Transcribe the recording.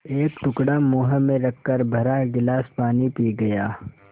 एक टुकड़ा मुँह में रखकर भरा गिलास पानी पी गया